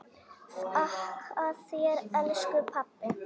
Þakka þér elsku pabbi.